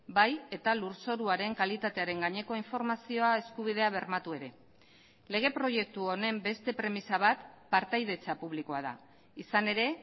bai eta lurzoruaren kalitatearen gaineko informazioa eskubidea bermatu ere lege proiektu honen beste premisa bat partaidetza publikoa da izan ere